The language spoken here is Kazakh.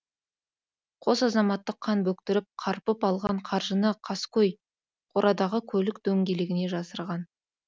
қос азаматты қан бөктіріп қарпып алған қаржыны қаскөй қорадағы көлік дөңгелегіне жасырған